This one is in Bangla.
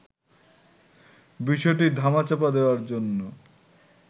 বিষয়টি ধামাচাপা দেয়ার জন্য